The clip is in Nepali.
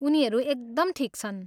उनीहरू एकदम ठिक छन्।